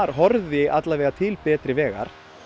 horfi til betri vegar